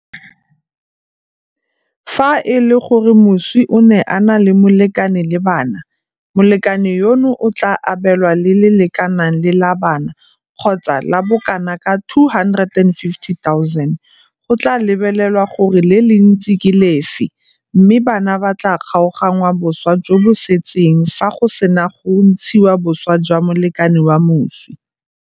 Fa e le gore moswi o ne a na le molekane le bana, molekane yono o tla abelwa le le lekanang le la bana kgotsa la bokanaka R250 000, go tla lebelelwa gore le le ntsi ke le lefe, mme bana ba tla kgaoganngwa boswa jo bo setseng fa go sena go ntshiwa boswa jwa molekane wa moswi.